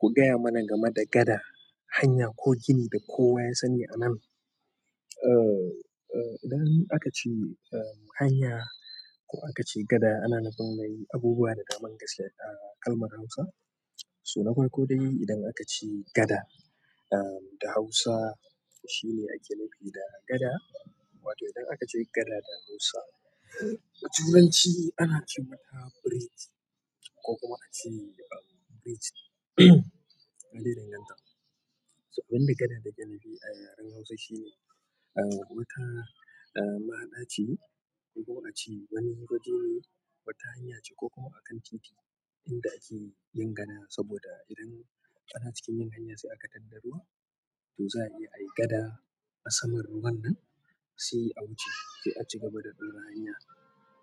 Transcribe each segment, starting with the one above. Ku gaya mana game da gada, hanya ko gini da kowa ya sani anan. Eh, idan aka ce hanya ko aka ce gada, ana nufin mai abubuwa da daman gaskiya a kalmar Hausa. So na farko dai idan aka ce gada da Hausa, shi ne ake nufi da gada. Wato idan aka ce gada da Hausa, a Turanci ana ce mata bridge ko kuma ake ce bridge. Ya danganta. Abin da gada da yana a yaren Hausa shine, wata mahaɗa ce ko kuma ace wani waje ne, wata hanya ce ko kuma a kan titi inda ake yin gada saboda idan ana cikin yin hanya sai aka tattara ruwa to za a iya yi gada a saman ruwan nan sai a wuce sai a ci gaba da ɗora hanya.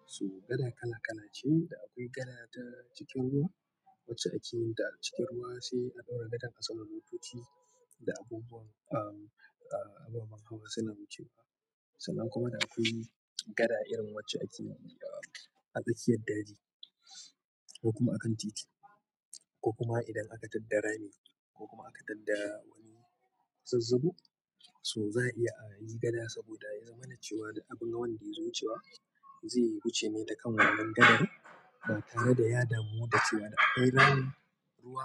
So gada kala kala ce da akwai gada ta cikin ruwa wacce ake yin ta cikin ruwa sai a ɗora gadan a saman motoci da abubuwan, ababen hawa suna wucewa. Sannan kuma da akwai gada irin wacce ake a tsakiyar daji ko kuma a kan titi ko kuma idan aka tadda rami ko kuma aka tadda wani zazzabu. So za a iya a yi gada saboda ya zamana cewa duk abin wanda zai wucewa zai wuce ne da kan wannan gadar ba tare da ya damu da cewa da akwai ramin ruwa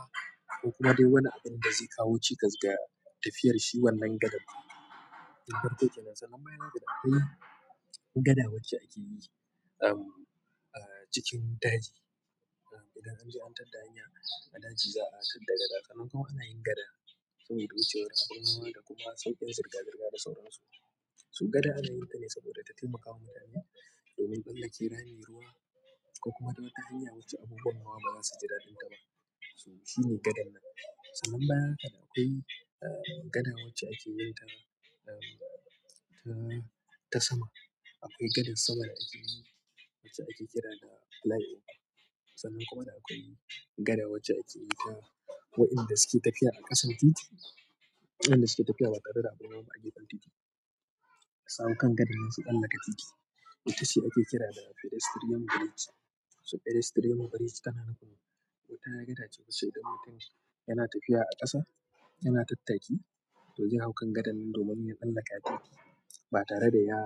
ko kuma dai wani abin da zai kawo cikas ga tafiyar shi wannan gadar. Na farko kenan. Sannan bayan haka da akwai gada wacce ake yi a cikin daji. Idan an je an tadda hanya a daji, za a tadda gada. Sannan kuma ana yin gada sun yi wucewa abin hawa da kuma sauƙin sirga sirga da sauran su. So gada ana yin ta ne saboda ta taimakawa mutane domin tsallake rami, ruwa ko kuma wata hanya wacce abubuwan hawa ba za su ji daɗin ta ba. So shi ne gadan nan. Sannan bayan haka da akwai gada wacce ake yin ta, ta sama. Akwai gadan sama da ake yi wacce ake kira da flyover. Sannan kuma da akwai gada wacce akeyin ta wa'inda suke tafiya a kan titi waɗanda suke tafiya ba tare da abun hawa ba a gefen kan titi. Suhau kan gadan nan su tsallaka titi wacce ake kira da pedestrian bridge. So pedestrian bridge tana nufin wata gada ce mushe idan mutum yana tafiya a ƙasa, yana tattaki to zai hau kan gadan nan domin ya tsallaka titi ba tare da ya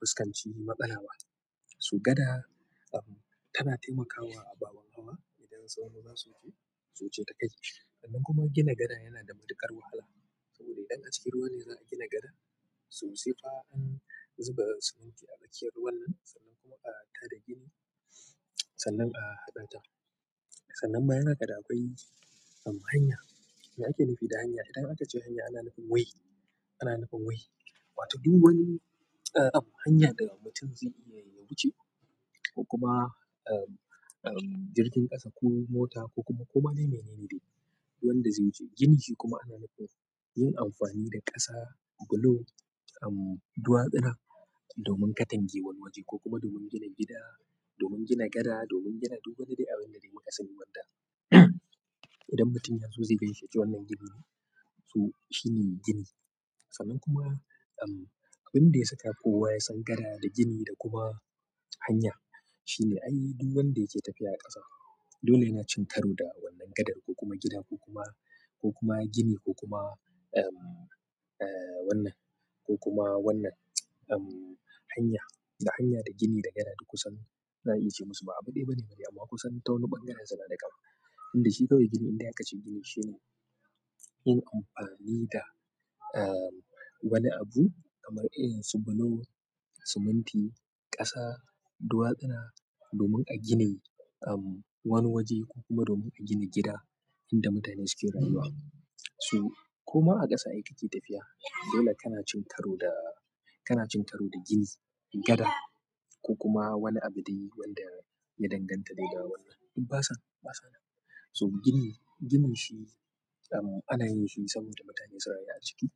fuskanci matsala ba. So gada tana taimakawa ababen hawa idan sau nawa za su wuce, su wuce ta kai. Sannan kuma gina gada yana da matuƙar wahala saboda idan a cikin ruwa ne za a gina gada, so sai fa an zuba siminti a tsakiyar ruwan nan sannan kuma a tada gini sannan a haɗa ta. Sannan bayan haka da akwai hanya. Me ake nufi da hanya? Idan aka ce hanya, ana nufin way. Ana nufin way. Wato duk wani hanya da mutum zai iya yin wucewa ko kuma jirgin ƙasa ko mota ko kuma ko ma dai mai nene dai wanda zai wuce. Gini shi kuma ana nufin yin amfani da ƙasa, bulo, duwasuna domin katangewan wani waje ko kuma domin gina gida, domin gina gada, domin gina duk wani dai abin da dai makasani wanda idan mutum ya so zai gaishe yace wannan gini. So shi ne gini. Sannan kuma abin da ya saka kowa ya san gada da gini da kuma hanya shine, ai duk wanda yake tafiya a ƙasa dole yana cin taro da wannan gadar ko kuma gida ko kuma, ko kuma gini ko kuma wannan ko kuma wannan hanya. Da hanya da gini da gada duk kusan za a iya ce musu ba abu ɗaya bane, amma kusan ta wani ɓangaren su na da ƙama. Inda shi kawai gini idan aka ce gini shi ne yin amfani da wani abu kamar irin su bulo, siminti, ƙasa, duwasuna domin a gina wani waje ko kuma domin a gina gida inda mutane suke rayuwa. So koma a ƙasa ai kake tafiya. Dole kana cin taro da, kana cin taro da gini, gada ko kuma wani abu dai wanda ya danganta daida wannan. Duk basa, basa nan. So gini, gini shi ana yin shi saboda mutane su rayu a ciki.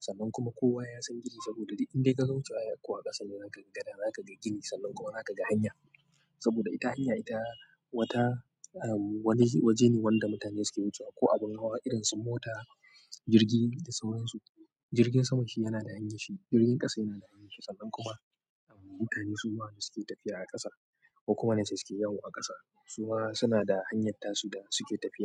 Sannan kuma kowa ya san gini saboda duk indai ka zo wucewa ko a ƙasa, za ka ga gada, za ka ga gini sannan kuma za ka ga hanya. Saboda ita hanya, ita wata, waje ne wanda mutane suke wucewa ko abun hawa irin su mota, jirgi da sauran su. Jirgin sama shi yana da hanyar shi, jirgin ƙasa yana da hanyar shi sannan kuma mutane su ma da suke tafiya a ƙasa ko kuma na su suke yawo a ƙasa, su ma suna da hanyar tasu da suke tafiya.